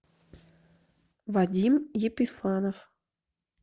вадим епифанов